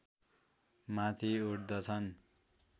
माथि उठ्दछन्